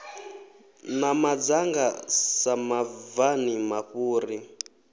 na madzanga sa mabvani mafhuri